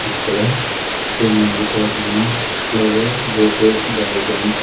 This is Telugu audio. ఇక్కడ Shri Mallikarjuna flower bouquets gardens --